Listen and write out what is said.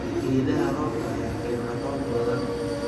Geedaha roobka ayaa keena roob badan.